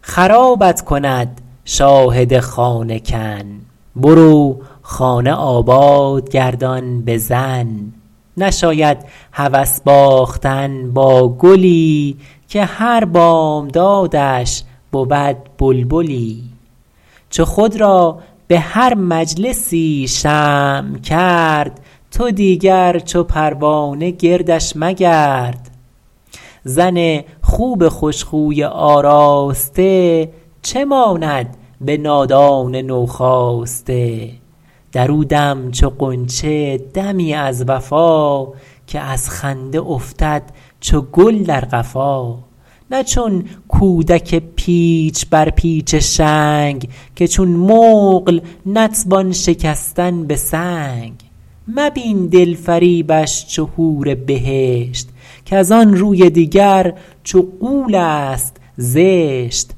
خرابت کند شاهد خانه کن برو خانه آباد گردان به زن نشاید هوس باختن با گلی که هر بامدادش بود بلبلی چو خود را به هر مجلسی شمع کرد تو دیگر چو پروانه گردش مگرد زن خوب خوش خوی آراسته چه ماند به نادان نو خاسته در او دم چو غنچه دمی از وفا که از خنده افتد چو گل در قفا نه چون کودک پیچ بر پیچ شنگ که چون مقل نتوان شکستن به سنگ مبین دلفریبش چو حور بهشت کز آن روی دیگر چو غول است زشت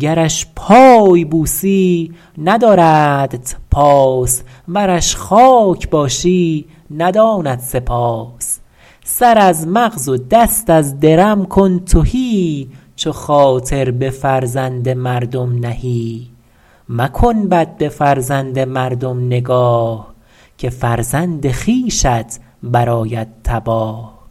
گرش پای بوسی نداردت پاس ورش خاک باشی نداند سپاس سر از مغز و دست از درم کن تهی چو خاطر به فرزند مردم نهی مکن بد به فرزند مردم نگاه که فرزند خویشت برآید تباه